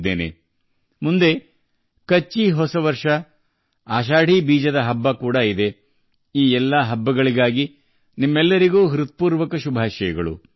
ಇನ್ನು ಮುಂದೆ ಕಚ್ಚಿ ಹೊಸ ವರ್ಷದ ಹಬ್ಬ - ಆಷಾಧಿ ಬೀಜ ಈ ಎಲ್ಲಾ ಹಬ್ಬಗಳಿಗೂ ನಿಮ್ಮೆಲ್ಲರಿಗೂ ಶುಭ ಹಾರೈಸುತ್ತೇನೆ